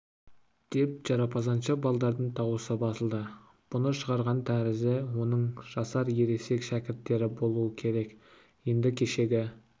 деп жарапазаншы балалардың даусы басылды бұны шығарған тәрізі оның жасар ересек шәкірттері болу керек енді кешегі